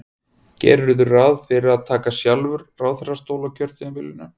Gerirðu ráð fyrir að taka sjálfur ráðherrastól á kjörtímabilinu?